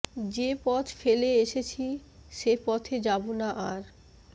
যে পথ ফেলে এসেছি সে পথে যাবো না আর